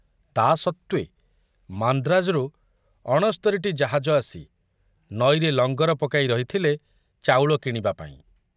ତା ସତ୍ତ୍ୱେ ମାନ୍ଦ୍ରାଜରୁ ଅଣସ୍ତରୀଟି ଜାହାଜ ଆସି ନଈରେ ଲଙ୍ଗର ପକାଇ ରହିଥିଲେ ଚାଉଳ କିଣିବାପାଇଁ।